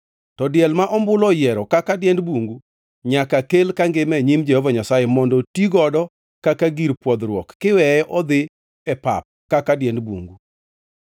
To diel ma ombulu oyiero kaka diend bungu nyaka kel kangima e nyim Jehova Nyasaye mondo ti godo kaka gir pwodhruok kiweye odhi e pap kaka diend bungu.